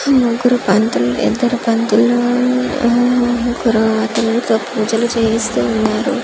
ముగ్గురు పంతులు ఇద్దరు పంతులు ఉమమ్ ఎవ్వరో అతను తో పూజలు చేయిస్తూ ఉన్నారు .